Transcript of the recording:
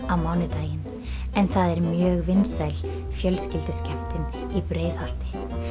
á mánudaginn en það er mjög vinsæl fjölskylduskemmtun í Breiðholti